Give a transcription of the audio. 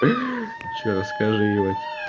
ещё расскажи ебать